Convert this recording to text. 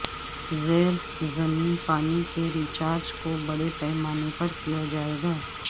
زیر زمین پانی کے ری چارج کو بڑے پیمانے پر کیا جائے گا